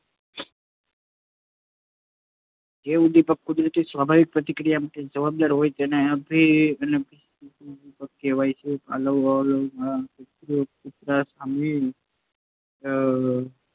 જે ઉદ્દીપક કુદરતી સ્વાભાવિક પ્રતિક્રિયા માટે જવાબદાર હોય તેને અનઅભિસંધિત ઉદ્દીપક કહેવાય છે. પાવલોવના પ્રયોગમાં કૂતરાની સામે અઅ